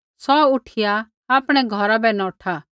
सौ उठिया आपणै घौरा बै नौठा